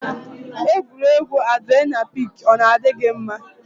Egwuregwu adrenalin pik ọ na-adị gị mma?